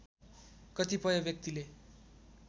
कतिपय व्यक्तिले